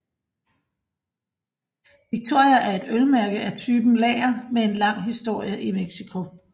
Victoria er et ølmærke af typen lager med en lang historie i Mexico